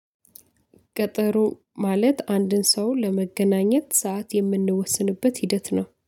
ቀጠሮ ማለት አንድን ሰው ለመገናኘት ሰዓት የምንወስንበት ሂደት ነው